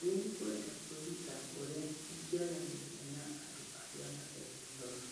Nĩngwenda kwĩruta ũrĩa ingĩaranĩria na andũ arĩa mataiguaga